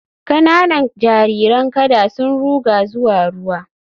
Kananan jariran kada sun ruga zuwa ruwa